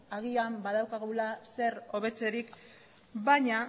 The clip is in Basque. agian badaukagu zer hobetzerik baina